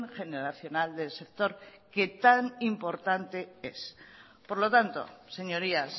generacional del sector que tan importante es por lo tanto señorías